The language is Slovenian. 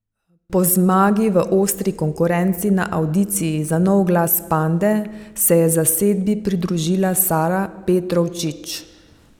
Po zmagi v ostri konkurenci na avdiciji za nov glas Pande se je zasedbi pridružila Sara Petrovčič.